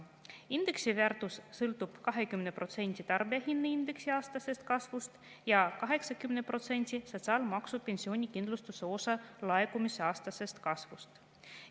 Indeksi väärtus sõltub 20% tarbijahinnaindeksi aastasest kasvust ja 80% sotsiaalmaksu pensionikindlustuse osa laekumise aastasest kasvust.